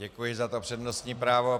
Děkuji za to přednostní právo.